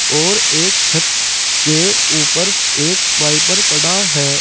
और एक छत के ऊपर एक वाइपर पड़ा है।